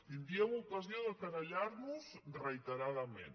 tindríem ocasió de querellar·nos re·iteradament